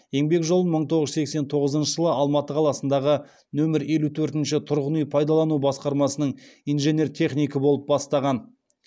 еңбек жолын мың тоғыз жүз сексен тоғызыншы жылы алматы қаласындағы нөмірі елу төртінші тұрғын үй пайдалану басқармасының инженер технигі болып бастаған